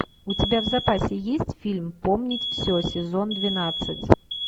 у тебя в запасе есть фильм помнить все сезон двенадцать